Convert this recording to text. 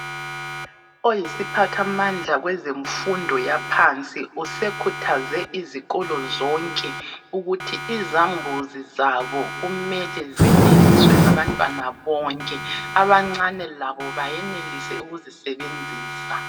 Oyisiphathamandla kwezemfundo yaphansi usekhuthaze izikolo zonke ukuthi izambuzi zabo kumele zeneliswe ngabantwana bonke. Abancane labo bayenelise ukuzisebenzisa.